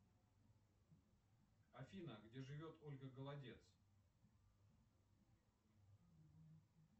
афина где живет ольга голодец